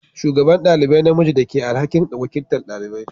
Shugaban ɗalibai namiji da ke da alhakin wakiltar dalibai.